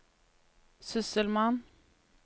sysselmann